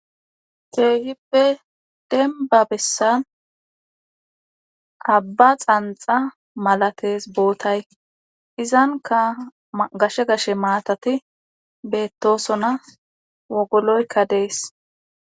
keehippe denba bessan abba xanxa malates bootay izanka gashe gashe maatati beettosona wogoloykka dees.